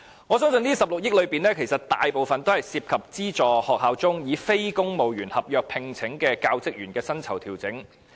我相信這16億元裏面，大部分涉及資助學校以非公務員合約聘請的教職員的薪酬調整。